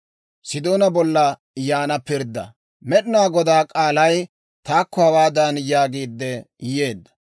Med'inaa Godaa k'aalay taakko hawaadan yaagiidde yeedda;